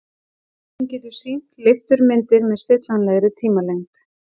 Hún getur sýnt leifturmyndir með stillanlegri tímalengd.